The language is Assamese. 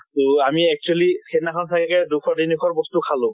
তʼ আমি actually সেই দিনাখন চাগে দুশ তিনি শৰ বস্তু খালোঁ।